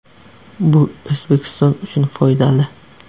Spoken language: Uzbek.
Bu O‘zbekiston uchun foydali.